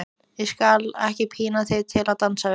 Ég skal ekki pína þig til að dansa við mig.